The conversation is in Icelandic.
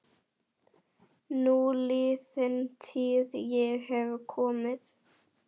Núliðin tíð- ég hef komið